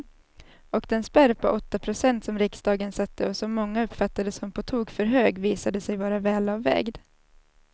Och den spärr på åtta procent som riksdagen satte och som många uppfattade som på tok för hög visade sig vara välavvägd.